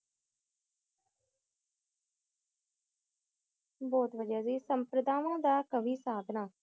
बहुत वाडिया जी समपतवन डा वि हसाब ला